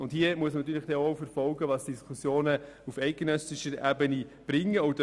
Hier wird man natürlich auch verfolgen müssen, was die Diskussionen auf eidgenössischer Ebene ergeben werden.